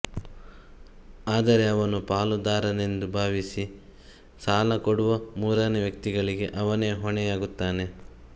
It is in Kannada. ಆದರೆ ಅವನು ಪಾಲುದಾರನೆಂದು ಭಾವಿಸಿ ಸಾಲ ಕೊಡುವ ಮೂರನೇ ವ್ಯಕ್ತಿಗಳಿಗೆ ಅವನೇ ಹೊಣೆಯಾಗುತ್ತಾನೆ